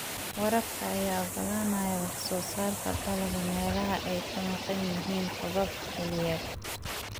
Waraabka ayaa ogolaanaya wax soo saarka dalagga meelaha ay ka maqan yihiin roobab xilliyeed.